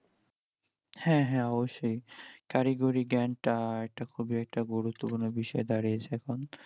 হ্যাঁ হ্যাঁ অবশ্যই কারিগরিক জ্ঞান টা একটা খুবি একটা গুরুত্বপূর্ণ বিষয় দাঁড়িয়েছে এখন